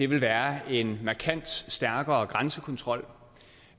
vil være en markant stærkere grænsekontrol